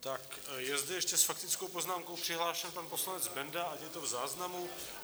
Tak je zde ještě s faktickou poznámkou přihlášen pan poslanec Benda, ať je to v záznamu.